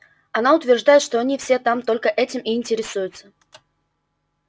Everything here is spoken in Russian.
она утверждает что они все там только этим и интересуются